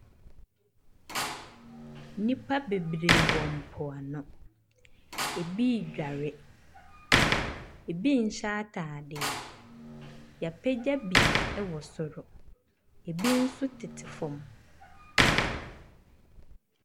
Nnipa bebree wɔ mpo ano. Ebi edware, ebi nhyɛ ataadeɛ. Yɛagyaa bi ɛwɔ soro. Ebi nso tete fam.